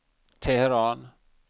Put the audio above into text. Teheran